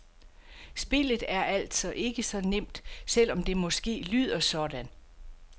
Spillet er altså ikke så nemt, selv om det måske lyder sådan.